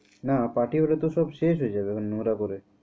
না party হলে তো সব শেষ হয়ে যাবে নোংরা করে।